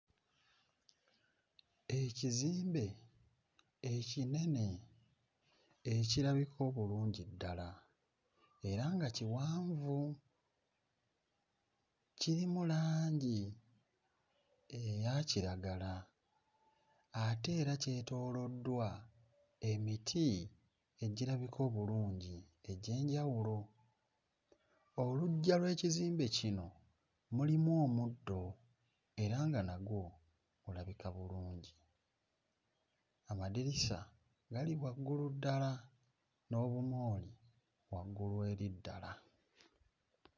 Ekizimbe ekinene ekirabika obulungi ddala era nga kiwanvu. Kirimu langi eya kiragala ate era kyetooloddwa emiti egirabika obulungi egy'enjawulo. Oluggya lw'ekizimbe kino mulimu omuddo era nga nagwo bulabika bulungi. Amadirisa gali waggulu ddala n'obumooli waggulu eri ddala.